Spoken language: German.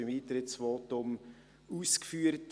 ich habe dies im Eintrittsvotum ausgeführt.